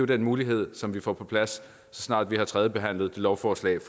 den mulighed som vi får på plads så snart vi har tredjebehandlet lovforslaget